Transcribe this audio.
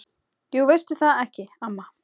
Jú veistu það ekki, amma?